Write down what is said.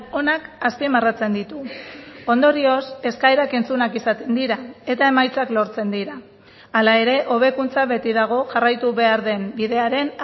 onak azpimarratzen ditu ondorioz eskaerak entzunak izaten dira eta emaitzak lortzen dira hala ere hobekuntza beti dago jarraitu behar den bidearen